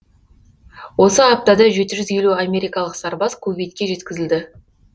осы аптада жеті жүз елу америкалық сарбаз кувейтке жеткізілді